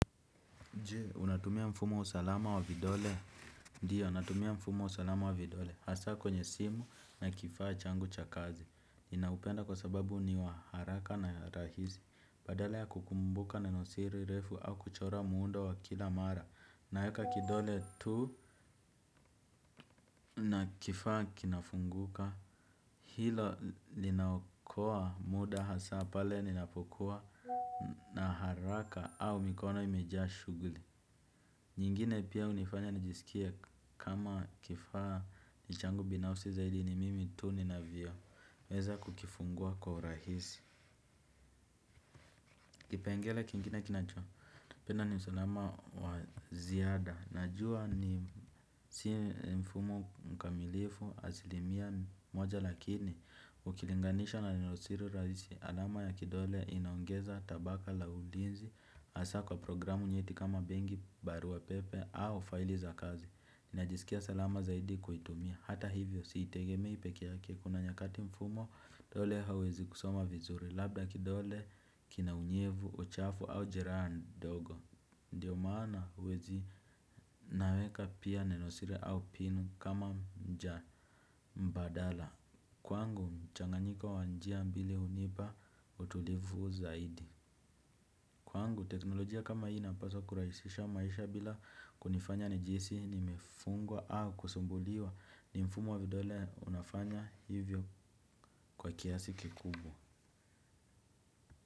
Je, unatumia mfumo wa usalama wa vidole? Ndio, natumia mfumo wa usalama wa vidole. Hasa kwenye simu na kifaa changu cha kazi. Ninaupenda kwa sababu ni wa haraka na rahisi. Badala ya kukumbuka neno siri refu au kuchora muundo wa kila mara. Naweka kidole tu na kifaa kinafunguka. Hilo linaokoa muda hasa pale ninapokuwa na haraka au mikono imejaa shughuli. Nyingine pia hunifanya nijisikie kama kifaa ni changu binafsi zaidi ni mimi tu ni navio. Weza kukifungua kwa urahisi. Kipengele kingine kinachopenda ni usalama wa ziada. Najua ni si mfumo mkamilifu asilimia moja lakini ukilinganisha na neno siri rahisi. Alama ya kidole inaongeza tabaka la ulinzi hasa kwa programu nyeti kama benki, barua pepe au failiza kazi. Ninajisikia salama zaidi kuitumia hata hivyo siitegemei peke yake kuna nyakati mfumo vidole hauwezi kusoma vizuri labda kidole kina unyevu, uchafu au jeraa ndogo. Ndiyo maana wezi naweka pia neno siri au pin kama njia mbadala. Kwangu mchanganyiko wa njia mbili hunipa utulivu zaidi. Kwangu teknolojia kama hii inapasa kurahisisha maisha bila kunifanya nijihisi nimefungwa au kusumbuliwa ni mfumo wa vidole unafanya hivyo, kwa kiasi kikubwa.